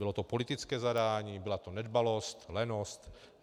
Bylo to politické zadání, byla to nedbalost, lenost?